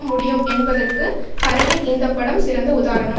முடியும் என்பதற்கு கரணின் இந்த படம் சிறந்த உதாரணம்